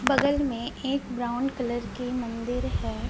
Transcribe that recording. बगल में एक ब्राउन कलर की मंदिर है।